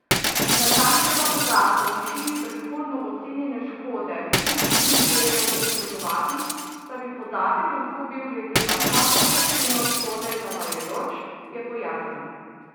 Natančnega podatka o višini predhodno ocenjene škode But ni želel posredovati, saj bi podatek lahko bil glede na končno oceno škode zavajajoč, je pojasnil.